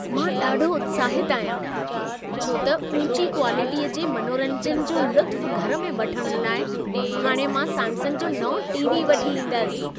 मां ॾाढो उत्साहित आहियां, छो त ऊची क्वालिटीअ जे मनोरंजन जो लुत्फ़ घर में वठण लाइ हाणे मां सैमसंग जो नओं टी.वी. वठी ईंदुसि।